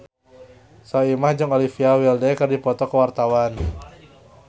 Soimah jeung Olivia Wilde keur dipoto ku wartawan